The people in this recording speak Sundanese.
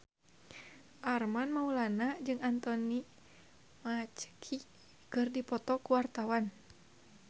Armand Maulana jeung Anthony Mackie keur dipoto ku wartawan